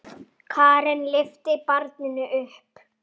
Karen lyftir barninu upp.